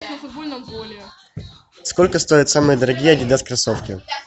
сколько стоят самые дорогие адидас кроссовки